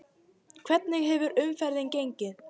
Hvernig hefur umferðin gengið?